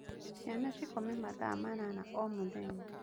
Ciana cikome mathaa manana o mũthenya